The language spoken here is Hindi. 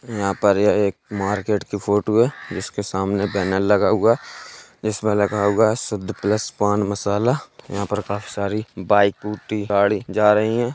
यहाँ पर यह एक मार्केट की फोटो है | इसके सामने एक बैनर लगा हुआ है जिसमें लिखा हुआ है शुद्ध प्लस पान मसाला | यहाँ पर काफी सारी बाइक स्कूटी गाड़ी जा रही है।